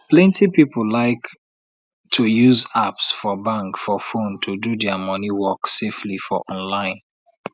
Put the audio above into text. plenty people like to use apps for bank for phone to do dia money work safely for online